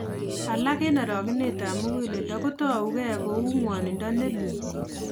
Alak eng' arogenetab muguleldo kotouge kou ng'wonindo neloo